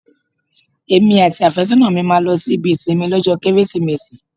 Èmi àti afésónà mi la máa lọ sí ibi ìsinmi lọ́jọ́ Kérésìmesì.